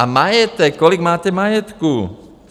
A majetek, kolik máte majetku?